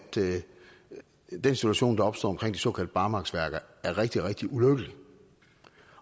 den situation der opstår omkring de såkaldte barmarksværker er rigtig rigtig ulykkelig